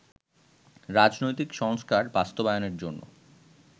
রাজনৈতিক সংস্কার বাস্তবায়নের জন্য